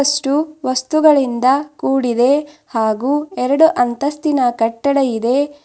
ಎಷ್ಟು ವಸ್ತುಗಳಿಂದ ಕೂಡಿದೆ ಹಾಗೂ ಎರಡು ಅಂತಸ್ತಿನ ಕಟ್ಟಡ ಇದೆ.